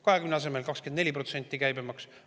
20% asemel 24% käibemaksu.